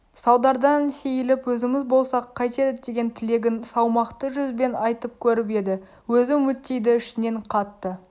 салдардан сейіліп өзіміз болсақ қайтеді деген тілегін салмақты жүзбен айтып көріп еді өзі үмітейді ішінен қатты